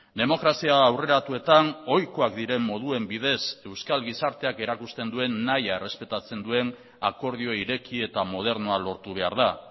demokrazia aurreratuetan ohikoak diren moduen bidez euskal gizarteak erakusten duen nahia errespetatzen duen akordio ireki eta modernoa lortu behar da